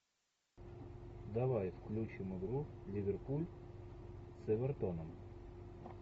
давай включим игру ливерпуль с эвертоном